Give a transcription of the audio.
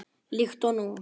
Líkt og nú.